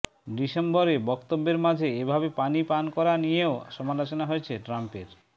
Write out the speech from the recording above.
ডিসেম্বরে বক্তব্যের মাঝে এভাবে পানি পান করা নিয়েও সমালোচনা হয়েছে ট্রাম্পের